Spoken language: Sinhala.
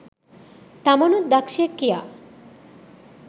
තමනුත් දක්ෂයෙක් කියා.